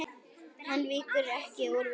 Hann víkur ekki úr vegi.